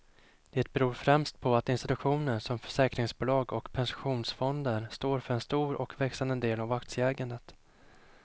Det beror främst på att institutioner som försäkringsbolag och pensionsfonder står för en stor och växande del av aktieägandet.